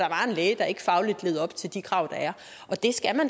læge der ikke fagligt levede op til de krav der